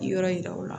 Yɔrɔ yira u la